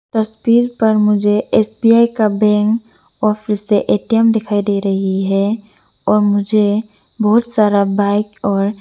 तस्वीर पर मुझे एस_बी_आई का बैंक और फिर से ए_टी_एम दिखाई दे रही है और मुझे बहोत सारा बाइक और --